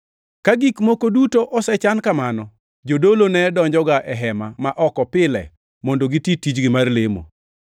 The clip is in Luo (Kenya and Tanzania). Ka gik moko duto nosechan kamano, jodolo ne donjoga e hema ma oko pile mondo giti tichgi mar lemo.